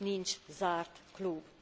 Nincs zárt klub.